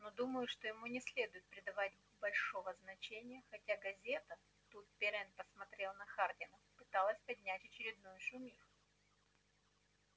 но думаю что ему не следует придавать большего значения хотя газета тут пиренн посмотрел на хардина пыталась поднять очередную шумиху